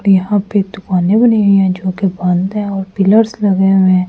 यहां पे दुकानें बनी हुई हैजो कि बंद है और पिलर्स लगे हुए हैं।